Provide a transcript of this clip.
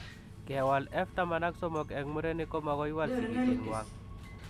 Kewal F taman ak somok eng murenik komagoiwal sigisiet ngwang